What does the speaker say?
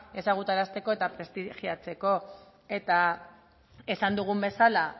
ezagutarazteko eta prestigiatzeko eta esan dugun bezala